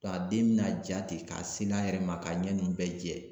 Nga den be na ja ten ka seri a yɛrɛ ma, ka ɲɛ nunnu bɛɛ jɛ.